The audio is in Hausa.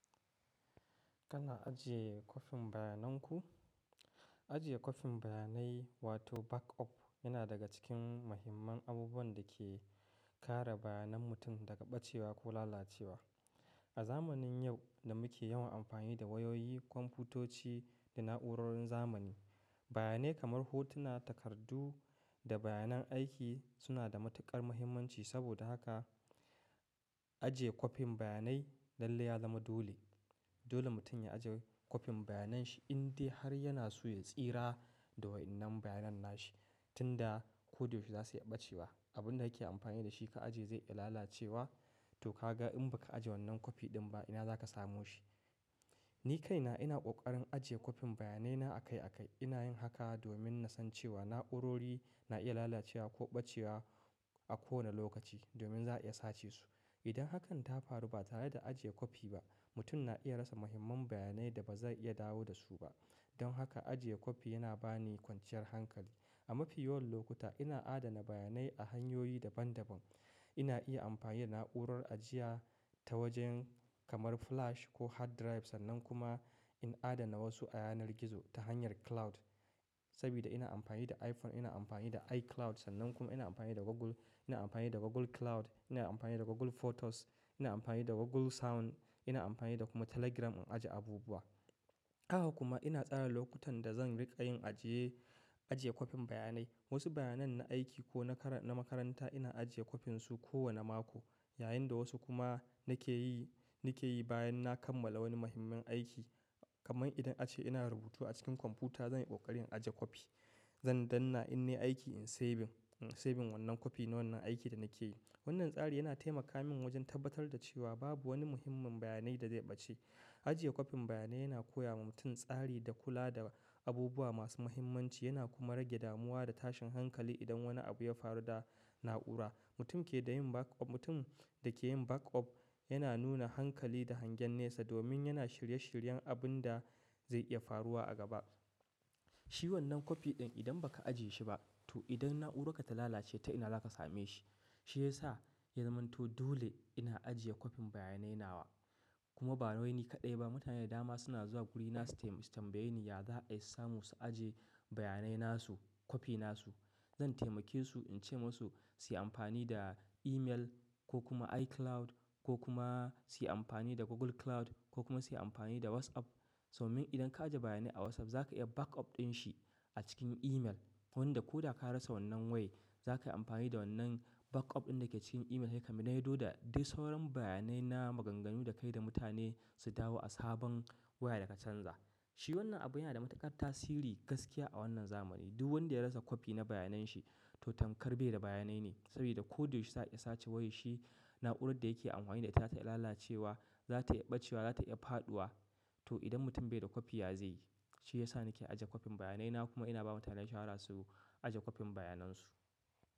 Kana ajiye kwafin bayanan ku? Ajiye kwafin bayanai wato backup yana daga cikin mahimman abubuwan da ke kare bayanan mutum daga ɓacewa ko lalacewa. A zamanin yau da muke yawan amfani da wayoyi, kwamfutoci da na'urorin zamani, bayanai kamar hotuna, takardu da bayanan aiki suna da matuƙar muhimmanci, saboda haka, ajiye kwafin bayanai lalle ya zama dole. Dole mutum ya ajiye kwafin bayananshi inde har yana so ya tsira da wa'innan bayanan na shi. Tinda ko da yaushe za su iya ɓacewa. Abunda yake amfani da shi ka ajiye zai iya lalacewa. To kaga in baka ajiye wannan kwafi din ba ina zaka samo shi. Ni kaina ina ƙoƙarin ajiye kwafin bayanaina a kai a kai. Ina yin haka domin na san cewa na'urori na iya lalacewa ko ɓacewa a kowane lokaci domin za a iya sace su. Idan hakan ta faru ba tare da ajiye kwafi ba, mutum na iya rasa muhimman bayanai da ba zai iya dawo da su ba. Don haka, ajiye kwafi yana bani kwanciyar hankali. A mafi yawan lokuta ina adana bayanai a hanyoyi daban daban. Ina iya amfani da na'urar ajiya ta wajen kamar flash ko hard drive sannan kuma in adana wasu a yanar gizo ta hanyar cloud. Sabida ina amfani da iPhone ina amfani da iCloud sannan kuma ina amfani da Google, ina amfani da Google Cloud, ina amfani da Google Photos, ina amfani da Google Sound, ina amfani da kuma Telegram in ajiye abubuwa. Haka kuma ina tsara lokutan da zan riƙa yin ajiye, ajiye kwafin bayanai. Wasu bayanai na aiki ko na kar na makaranta ina ajiye kwafinsu kowane mako yayinda wasu kuma nake yi, nake yi bayan na kammala wani mahimman aiki. Kaman idan ace ina rubutu a cikin kwamfuta zan yi kokarin ajiye kwafi. Zan dannna in nai aiki in saving, in saving wannan kwafi na wannan aiki da nake yi. Wannan tsari yana taimaka min wajen tabbatar da cewa babu wani muhimmin bayanai da zai ɓace. Ajiye kwafin bayanai yana koya wa mutum tsari da kula da abubuwa masu muhimmanci yana kuma rage damuwa da tashin hankali idan wani abu ya faru da na'ura. Mutum ke da yin backup, mutum da ke yin backup yana nuna hankali da hangen nesa domin yana shirye shiryen abin da zai iya faruwa a gaba. Shi wannan kwafi din idan baka ajiye shi ba to idan na'urarka ta lalace ta ina zaka same shi. Shi ya sa ya zamanto dole ina ajiye kwafin bayanai na kuma ba wai ni kaɗai ba mutane da dama suna zuwa guri na su taim-- su tambaye ni ya za a yi samu su ajiye bayanai na su, kwafi na su. Zan taimake su in ce masu su yi amfani da email ko kuma iCloud ko kuma su yi amfani da Google Cloud ko kuma su yi amfani da WhatsApp. Domin idan ka ajiye bayanai a WhatsApp za ka iya backup din shi a cikin email. Wanda ko da ka rasa wannan wayai zaka amfani da wannan backup din da ke cikin email sai ka maido da dis sauran bayanai na maganganu da kayi da mutane su dawo a sabon waya da ka canza. Shi wannan abu yana da matuƙar tasiri gaskiya a wannan zamani. Du wanda ya rasa kwafi na bayananshi to tankar bai da bayanai ne. Sabida ko da yaushe za a iya sace wayar shi, na'urar da yake amfani da ita ta iya lalacewa, za ta iya ɓacewa, za ta iya faɗuwa. To idan mutum bai da kwafi ya ze yi? Shi yasa nike ajiye duk bayanai na kuma ina ba mutane shawara su aje kwafin bayanai.